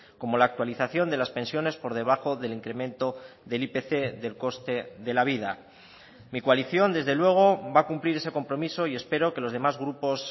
como la actualización de las pensiones por debajo del incremento del ipc del coste de la vida mi coalición desde luego va a cumplir ese compromiso y espero que los demás grupos